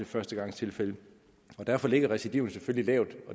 førstegangstilfælde og derfor ligger recidivet selvfølgelig lavt